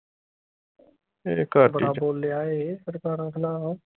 ਬੜਾ ਬੋਲਿਆ ਏਹੇ ਸਰਦਾਰਾਂ ਖਿਲਾਫ